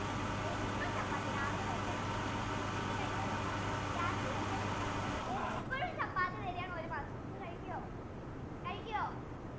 എന്നും chappathi രാവിലെ കഴിക്കാൻ ചപ്പാത്തി chappathi ഉച്ചക്ക് കഴിക്ക chappathi രാത്രി കഴിക്കാൻ chappathi ഇപ്പോഴും chappathi തരുവാണ് ഒരു മാസം നമ്മൾ കഴിക്കോ? കഴിക്കോ?